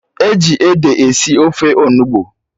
E ji ede esi ofe Onugbu